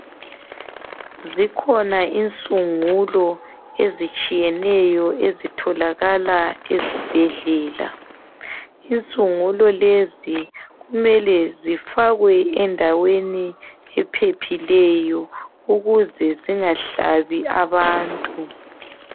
Zikhona insungulo ezitshiyeneyo ezitholakala ezibhedlela. Insungulo lezi kumele zifakwe endaweni ephephileyo ukuze zingahlabi abantu.